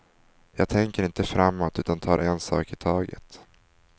Jag tänker inte framåt utan tar en sak i taget.